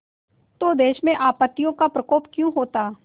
तो देश में आपत्तियों का प्रकोप क्यों होता